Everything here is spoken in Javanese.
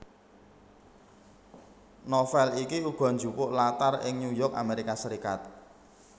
Novel iki uga jupuk latar ing New York Amerika Serikat